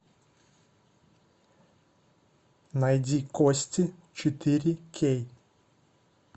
найди кости четыре кей